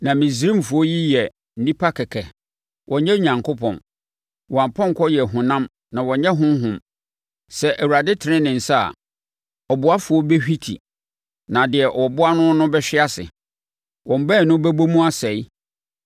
Na Misraimfoɔ yi yɛ nnipa kɛkɛ, wɔnyɛ Onyankopɔn. Wɔn apɔnkɔ yɛ honam na wɔnyɛ honhom. Sɛ Awurade tene ne nsa a, ɔboafoɔ bɛhwinti na deɛ wɔboa no no bɛhwe ase; wɔn baanu bɛbɔ mu asɛe.